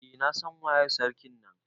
Eh na San waye sarkin na.